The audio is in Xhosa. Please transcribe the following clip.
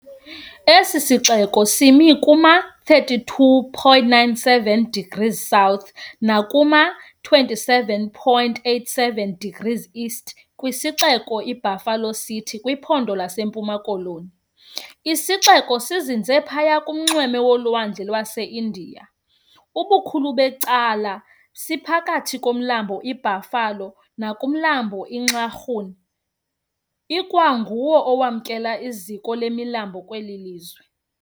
Esi sixeko simi kuma-32.97 degrees South nakuma-27.87 degrees East kwisixeko iBuffalo City kwiPhondo laseMpuma Koloni. Isixeko sizinze phaya ngakunxweme lolwandle lwaseIndiya, ubukhulu becacala siphakathi komlambo iBuffalo nakumlambo iNxarhun, kwangu nguwo owamkela iziko lemilambo kweli lizwe.